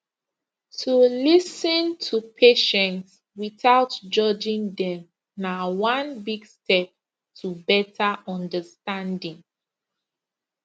to lis ten to patient without judging dem na one big step to better understanding